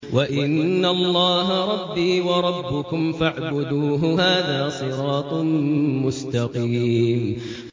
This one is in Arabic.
وَإِنَّ اللَّهَ رَبِّي وَرَبُّكُمْ فَاعْبُدُوهُ ۚ هَٰذَا صِرَاطٌ مُّسْتَقِيمٌ